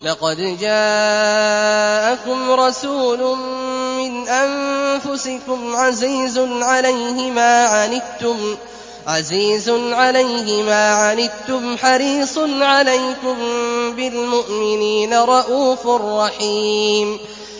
لَقَدْ جَاءَكُمْ رَسُولٌ مِّنْ أَنفُسِكُمْ عَزِيزٌ عَلَيْهِ مَا عَنِتُّمْ حَرِيصٌ عَلَيْكُم بِالْمُؤْمِنِينَ رَءُوفٌ رَّحِيمٌ